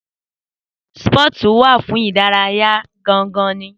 Sípọ̀tù wà fún ìdárayá gan gan ni